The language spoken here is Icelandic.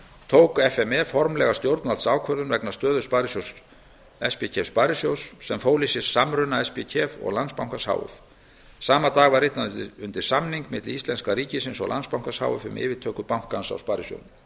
tók f m e formlega stjórnvaldsákvörðun vegna stöðu spkef sparisjóðs sem fól í sér samruna spkef og landsbankans h f sama dag var ritað undir samning milli íslenska ríkisins og landsbankans h f um yfirtöku bankans á sparisjóðnum